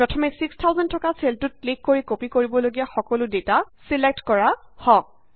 প্ৰথমে 6000থকা চেলটোত ক্লিক কৰি কপি কৰিব লগীয়া সকলো ডেটা ছিলেক্ট কৰা হওক